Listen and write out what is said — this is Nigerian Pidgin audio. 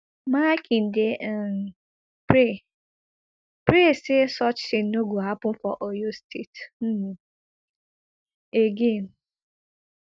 makinde um pray pray say such tin no go happun for oyo state um again